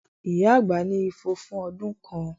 Ìyá àgbà ní ifo fún ọdún kan